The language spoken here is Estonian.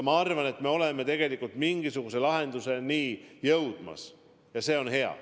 Ma arvan, et me oleme tegelikult mingisuguse lahenduseni jõudmas, ja see on hea.